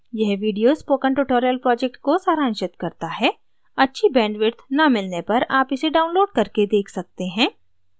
यह video spoken tutorial project को सारांशित करता है अच्छी bandwidth न मिलने पर आप इसे download करके देख सकते हैं